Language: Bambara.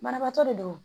Banabaatɔ de do